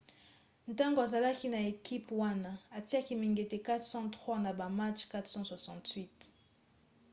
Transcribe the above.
ntango azalaki na ekipe wana atiaki mingete 403 na ba match 468